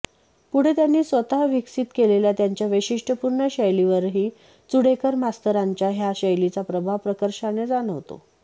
पुढे त्यांनी स्वतः विकसित केलेल्या त्यांच्या वैशिष्टपूर्ण शैलीवरही चुडेकर मास्तरांच्या ह्या शैलीचा प्रभाव प्रकर्षाने जाणवतो